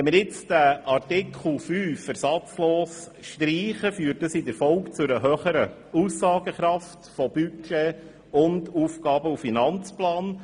Wenn wir nun Artikel 5 ersatzlos streichen, führt dies in der Folge zu einer höheren Aussagekraft von Budget und Aufgaben-/Finanzplan.